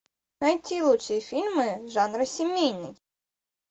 найти лучшие фильмы жанра семейный